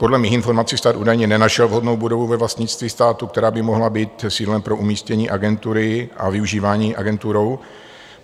Podle mých informací stát údajně nenašel vhodnou budovu ve vlastnictví státu, která by mohla být sídlem pro umístění agentury a využívání agenturou.